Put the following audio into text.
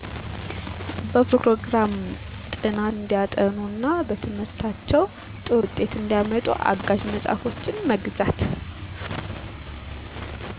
በፕሮግራም ጥናት እንዲያጠኑ እና በትምህርታቸው ጥሩ ውጤት እንዲያመጡ አጋዠ መፅሐፎችን መግዛት